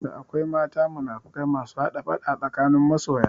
Da akwai mata munafukai masu hada faɗa tsakanin masoya